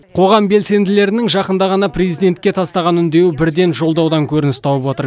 қоғам белсенділерінің жақында ғана президентке тастаған үндеуі бірден жолдаудан көрініс тауып отыр